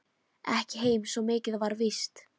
Ekki heim, svo mikið var víst.